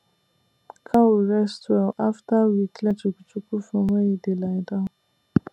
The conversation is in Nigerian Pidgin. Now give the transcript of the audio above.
cow rest well after we clear chukuchuku from where e dey lie down